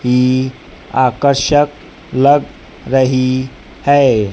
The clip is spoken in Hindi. यह आकर्षक लग रही है।